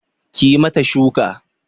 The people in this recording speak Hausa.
Kiyi mata shuku